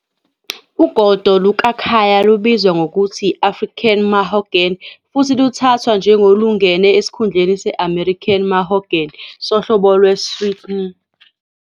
Ugodo "lukaKhaya" lubizwa ngokuthi yi- African mahogany, futhi luthathwa njengolungena esikhundleni se-American mahogany, "sohlobo" lwe-Swietenia.